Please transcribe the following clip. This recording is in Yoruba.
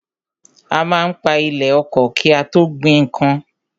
A má ń pa ilẹ̀ oko ki a tó gbin nnkan.